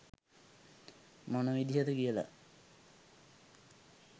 මොන විදිහද කියලා